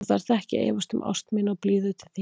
Þú þarft ekki að efast um ást mína og blíðu til þín.